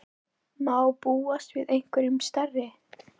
Má búast við einhverjum stærri?